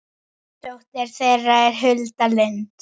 dóttir þeirra er Hulda Lind.